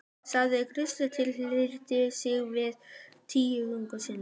sagði presturinn og hryllti sig við tilhugsunina.